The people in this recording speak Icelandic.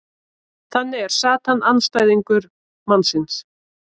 þannig er satan andstæðingur mannsins